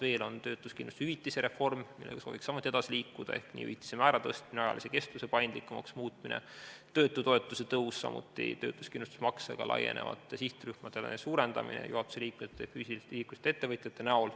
Veel on töötuskindlustushüvitise reform, millega sooviks samuti edasi liikuda ehk hüvitise määra tõstmine ja ajalise kestuse paindlikumaks muutmine, töötutoetuse tõus, samuti töötuskindlustusmakse laienemine sihtrühmadest juhatuse liikmetele ja füüsilisest isikust ettevõtjatele.